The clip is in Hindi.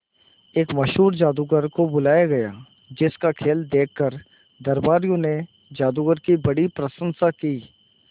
एक मशहूर जादूगर को बुलाया गया जिस का खेल देखकर दरबारियों ने जादूगर की बड़ी प्रशंसा की